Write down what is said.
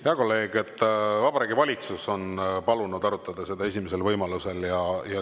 Hea kolleeg, Vabariigi Valitsus on palunud arutada seda esimesel võimalusel.